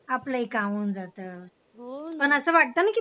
आपलाही काम होऊन जात पण असं वाटत ना कि